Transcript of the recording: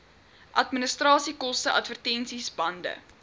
administrasiekoste advertensies bande